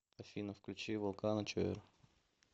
афина включи волкано чойр